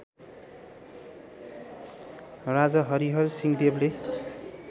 राजा हरिहरसिंहदेवले